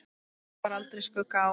Þar bar aldrei skugga á.